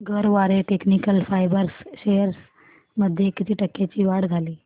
Garware technical fibres shares मध्ये किती टक्क्यांची वाढ झाली